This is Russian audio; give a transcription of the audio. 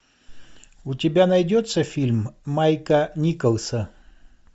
у тебя найдется фильм майка николса